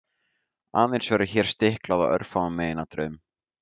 aðeins verður hér stiklað á örfáum meginatriðum